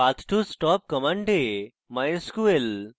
path to stop command: A